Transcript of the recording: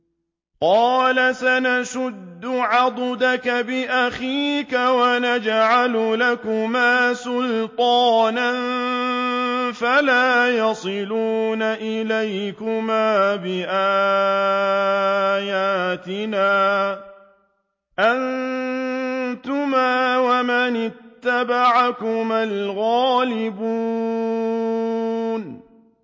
قَالَ سَنَشُدُّ عَضُدَكَ بِأَخِيكَ وَنَجْعَلُ لَكُمَا سُلْطَانًا فَلَا يَصِلُونَ إِلَيْكُمَا ۚ بِآيَاتِنَا أَنتُمَا وَمَنِ اتَّبَعَكُمَا الْغَالِبُونَ